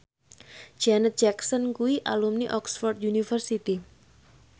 Janet Jackson kuwi alumni Oxford university